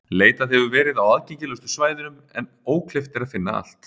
Leitað hefur verið á aðgengilegustu svæðunum en ókleift er að finna allt.